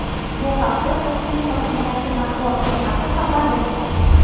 Bu haqda Toshkent hokimiyati matbuot xizmati xabar bermoqda.